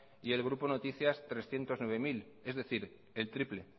y el grupo noticias trescientos nueve mil es decir el triple